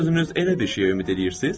Siz özünüz elə bir şeyə ümid eləyirsiz?